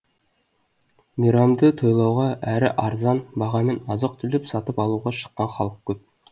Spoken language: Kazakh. мейрамды тойлауға әрі арзан бағамен азық түлік сатып алуға шыққан халық көп